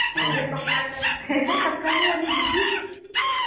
ਇਧਰ ਪੱਖਾ ਵੀ ਹੈ ਨੀ, ਇਧਰ ਪੱਖਾ ਵੀ ਹੈ ਨੀ ਬੀਬੀ।